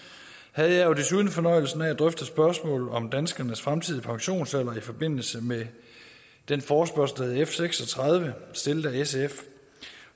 havde jeg jo desuden fornøjelsen af at drøfte spørgsmålet om danskernes fremtidige pensionsalder i forbindelse med den forespørgsel der hed f seks og tredive stillet af sf